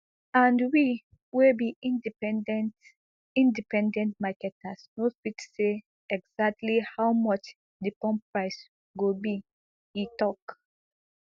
and we wey be independent independent marketers no fit say exactly how much di pump price go be e tok